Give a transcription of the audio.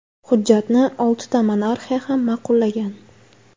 Hujjatni oltita monarxiya ham ma’qullagan.